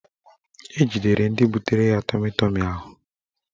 Ejidere ndị butere ya tọmi tọmi ahụ